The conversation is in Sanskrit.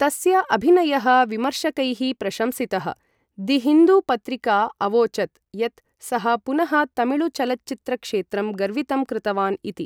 तस्य अभिनयः विमर्शकैः प्रशंसितः, दि हिन्दु पत्रिका अवोचत् यत् सः पुनः तमिळु चलच्चित्रक्षेत्रं गर्वितं कृतवान् इति।